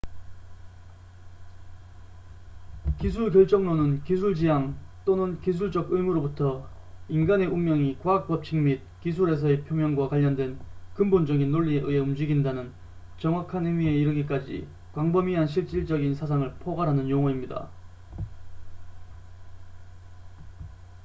기술 결정론은 기술 지향 또는 기술적 의무부터 인간의 운명이 과학 법칙 및 기술에서의 표명과 관련된 근본적인 논리에 의해 움직인다는 정확한 의미에 이르기까지 광범위한 실질적인 사상을 포괄하는 용어입니다